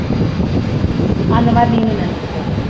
அந்த மாதிரி நீனும் நினைச்சுக்கோ